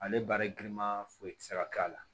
Ale baara giriman foyi ti se ka k'a la